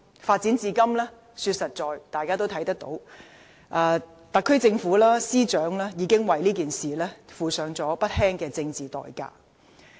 坦白說，事情發展至今，特區政府及司長已付上不輕的政治代價。